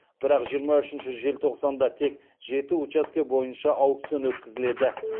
бірақ жиырма үшінші желтоқсанда тек жеті учаске бойынша аукцион өткізіледі